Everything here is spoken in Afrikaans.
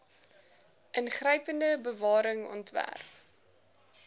ingrypende bewaring ontwerp